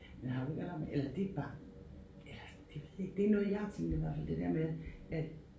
Men har du ikke hørt om eller det bare eller det det det noget jeg har tænkt i hvert fald det der med at